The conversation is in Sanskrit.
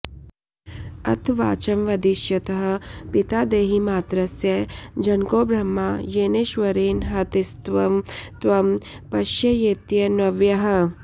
अथ वाचं वदिष्यतः पिता देहिमात्रस्य जनको ब्रह्मा येनेश्वरेण हतस्तं त्वं पश्येत्यन्वयः